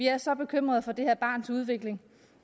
er så bekymret for det her barns udvikling